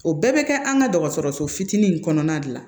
O bɛɛ bɛ kɛ an ka dɔgɔtɔrɔso fitinin in kɔnɔna de la